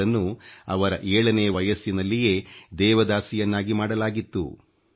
ಇವರನ್ನು ಅವರ 7 ನೇ ವರ್ಷ ವಯಸ್ಸಿನಲ್ಲಿಯೇ ದೇವದಾಸಿಯನ್ನಾಗಿ ಮಾಡಲಾಗಿತ್ತು